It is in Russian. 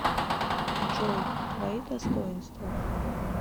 джой твои достоинства